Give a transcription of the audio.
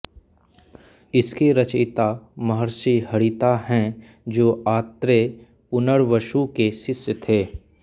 इसके रचयिता महर्षि हारीत हैं जो आत्रेय पुनर्वसु के शिष्य थे